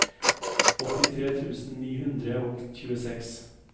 åttitre tusen ni hundre og tjueseks